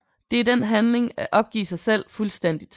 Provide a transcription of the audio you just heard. Det er den handling at opgive sit selv fuldstændigt